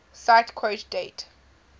cite quote date